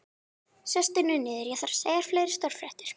Sestu nú niður, ég þarf að segja þér fleiri stórfréttir